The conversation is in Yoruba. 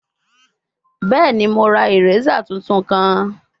Bẹẹni, Mo ra eraser tuntun kan